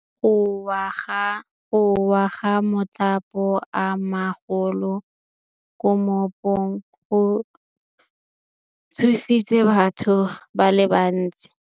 Go wa ga matlapa a magolo ko moepong go tshositse batho ba le bantsi.